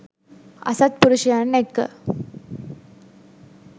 අසත්පුරුෂයන් එක්ක